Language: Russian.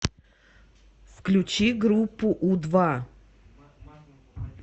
включи группу у два